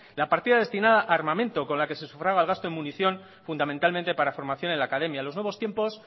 la partida destinada a armamento con la que sufraga el gasto de emunción fundamentalmente para formación en la academia los nuevos tiempos